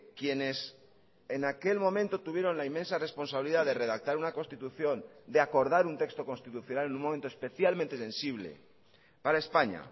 quienes en aquel momento tuvieron la inmensa responsabilidad de redactar una constitución de acordar un texto constitucional en un momento especialmente sensible para españa